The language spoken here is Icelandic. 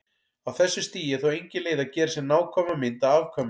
Á þessu stigi er þó engin leið að gera sér nákvæma mynd af afkvæminu.